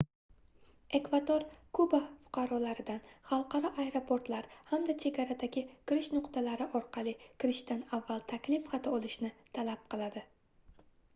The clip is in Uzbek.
ekvador kuba fuqarolaridan xalqaro aeroportlar hamda chegaradagi kirish nuqtalari orqali kirishdan avval taklif xati olishni talab qiladi